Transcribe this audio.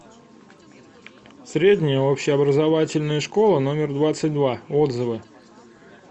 средняя общеобразовательная школа номер двадцать два отзывы